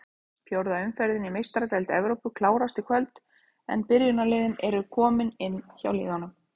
Fjórða umferðin í Meistaradeild Evrópu klárast í kvöld en byrjunarliðin eru komin inn hjá liðunum.